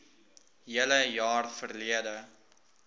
hele jaar verlede